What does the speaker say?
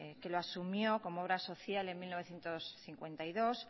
que lo asumió como obra social en mil novecientos cincuenta y dos